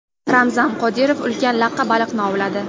Ramzan Qodirov ulkan laqqa baliqni ovladi.